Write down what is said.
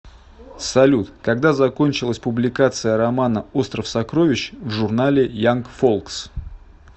салют когда закончилась публикация романа остров сокровищ в журнале янг фолкс